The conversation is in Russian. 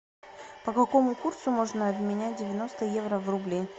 по какому курсу можно обменять девяносто евро в рубли